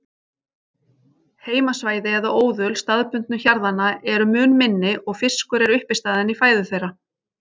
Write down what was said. Heimasvæði eða óðul staðbundnu hjarðanna eru mun minni og fiskur er uppistaðan í fæðu þeirra.